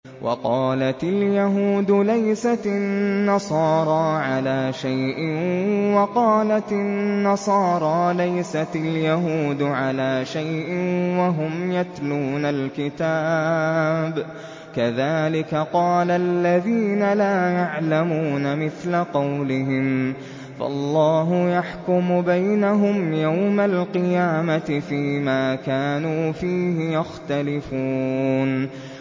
وَقَالَتِ الْيَهُودُ لَيْسَتِ النَّصَارَىٰ عَلَىٰ شَيْءٍ وَقَالَتِ النَّصَارَىٰ لَيْسَتِ الْيَهُودُ عَلَىٰ شَيْءٍ وَهُمْ يَتْلُونَ الْكِتَابَ ۗ كَذَٰلِكَ قَالَ الَّذِينَ لَا يَعْلَمُونَ مِثْلَ قَوْلِهِمْ ۚ فَاللَّهُ يَحْكُمُ بَيْنَهُمْ يَوْمَ الْقِيَامَةِ فِيمَا كَانُوا فِيهِ يَخْتَلِفُونَ